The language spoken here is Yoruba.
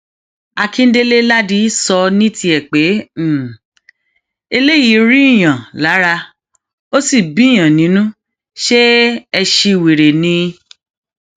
akindélẹ láàdì sọ ní tiẹ pé um eléyìí rí i yàn lára ò sì bíyàn nínú ṣe ẹ síwèrè ni